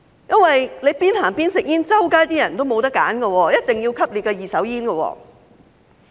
因為邊走邊吸煙的話，街上的人沒有選擇，一定要吸入二手煙。